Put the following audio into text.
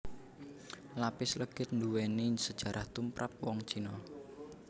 Lapis legit nduwéni sejarah tumprap wong Cina